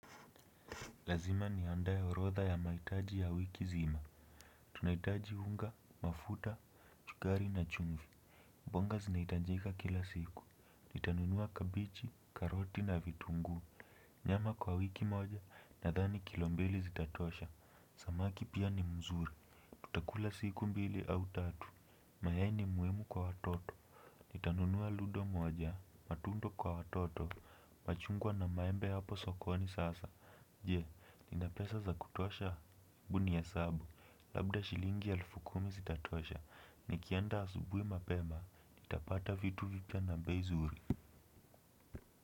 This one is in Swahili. Lazima niandae orodha ya maitaji ya wiki zima tunaitaji unga mafuta chugari na chumvi mbonga zinaitanjika kila siku nitanunua kabichi karoti na vitungu nyama kwa wiki moja nadhani kilo mbili zitatosha samaki pia ni mzuri, tutakula siku moja au tatu mayai ni muimu kwa watoto nitanunua ludo moja matundo kwa watoto machungwa na maembe hapo sokoni sasa. Je, ninapesa za kutosha ebu niesabu, labda shilingi elfu kumi zitatosha, nikienda asubui mapema, nitapata vitu vipya na bei zuri.